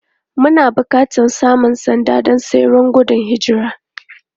Muna buƙatar samun sanda don tseren gudun hijira.